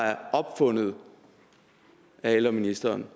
er opfundet af ældreministeren